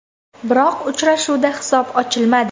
Biroq uchrashuvda hisob ochilmadi.